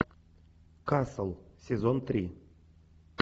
касл сезон три